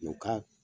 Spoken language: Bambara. Ɲɔ ka